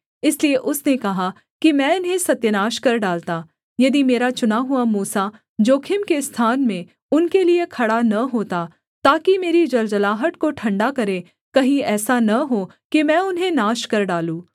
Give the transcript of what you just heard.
इसलिए उसने कहा कि मैं इन्हें सत्यानाश कर डालता यदि मेरा चुना हुआ मूसा जोखिम के स्थान में उनके लिये खड़ा न होता ताकि मेरी जलजलाहट को ठण्डा करे कहीं ऐसा न हो कि मैं उन्हें नाश कर डालूँ